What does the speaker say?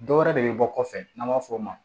Dɔ wɛrɛ de bɛ bɔ kɔfɛ n'an b'a fɔ o ma